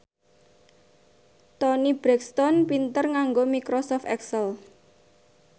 Toni Brexton pinter nganggo microsoft excel